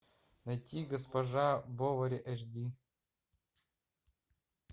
найти госпожа бовари эш ди